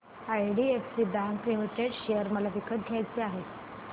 IDFC bank limited share मला विकत घ्यायचे आहेत